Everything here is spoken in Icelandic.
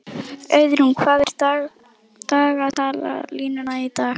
Auðrún, hvað er í dagatalinu í dag?